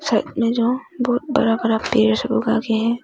Side में जो बहुत बड़ा बड़ा पेड़ आगे है।